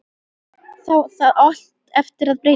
Það á allt eftir að breytast!